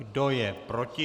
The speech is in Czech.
Kdo je proti?